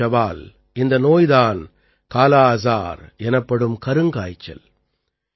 இந்தச் சவால் இந்த நோய் தான் காலா அஜார் எனப்படும் கருங்காய்ச்சல்